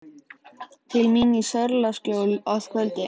Til mín í Sörlaskjól að kvöldi.